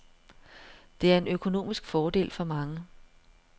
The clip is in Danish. Det er en økonomisk fordel for mange.